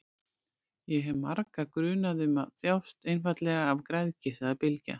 Ég hef marga grunaða um að þjást einfaldlega af græðgi, sagði Bylgja.